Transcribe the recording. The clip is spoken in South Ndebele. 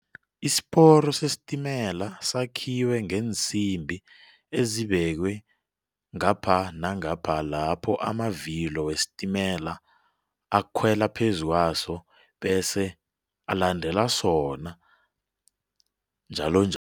Isiporo sesitimela sakhiwe ngeensimbi ezibekiwe ngapha nangapha lapho amavilo wesitimela akhwela phezu kwaso bese alandela sona, njalonjalo.